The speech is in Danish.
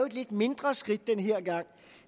et lidt mindre skridt denne gang